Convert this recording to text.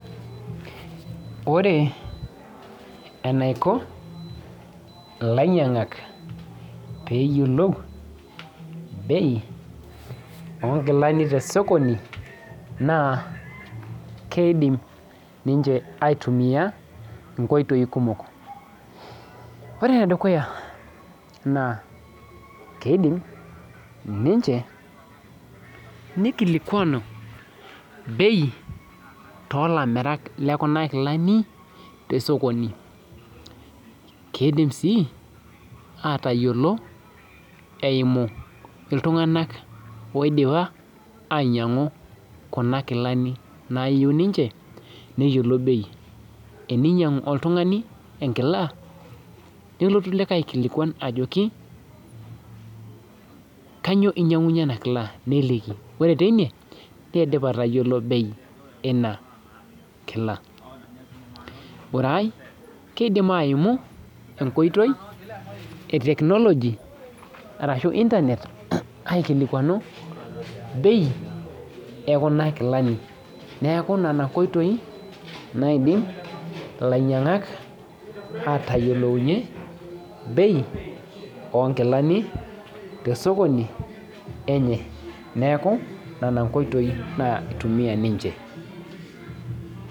Ore enaiko lainyangak peyiolou bei onkilani tosokoni na keidim ninche aitumia nkoitoi kumok, ore enedukuya na keidim ninche nikilikuanu bei tolamirak lekuna kilani tosokoni, keidim si atayiolo eimu ltunganak oidipa ainyangu kuna kilani nayieu ninche neyiolou bei eninyang oltungani enkila nelotu likae aliki ajo kanyio inyangunyie inakila ore tine neidip atayiolo bei inakila ore ai kidim aimu enkoitoi e technology ashu internet aikilikuanu bei ekuna kilani neaku nona koitoi naidim lainyangak atayiolounye bei onkilani tosokoni lenye neaku nona nkoitoi naitumia ninche.